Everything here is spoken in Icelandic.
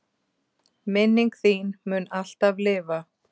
Minning þín mun alltaf lifa.